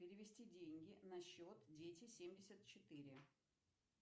перевести деньги на счет дети семьдесят четыре